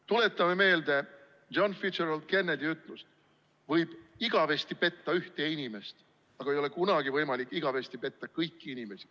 Tuletame meelde John Fitzgerald Kennedy ütlust: võib igavesti petta ühte inimest, aga ei ole kunagi võimalik igavesti petta kõiki inimesi.